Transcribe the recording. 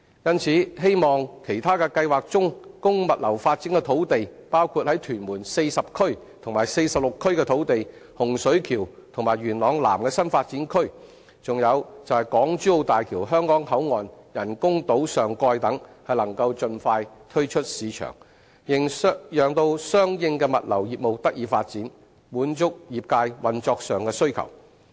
因此，我希望其他計劃中供物流發展的土地包括在屯門40區及46區的土地、洪水橋，以及元朗南的新發展區，還有港珠澳大橋香港口岸人工島上蓋等能夠盡快推出市場，讓相應的物流業務得以發展，滿足業界運作上的需求。